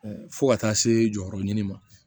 Ɛɛ fo ka taa se jɔyɔrɔ ɲini ma